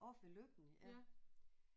Oppe ved Løkken ja